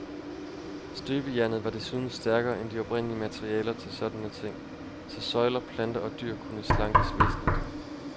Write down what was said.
Støbejernet var desuden stærkere end de oprindelige materialer til sådanne ting, så søjler, planter og dyr kunne slankes væsentligt.